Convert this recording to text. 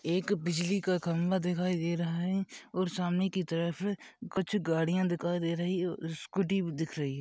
एक बिजली का खंबा दिखाई दे रहा है और सामने की तरफ कुछ गाड़ियां दिखाई दे रही हैं और स्कूटी भी दिख रही है।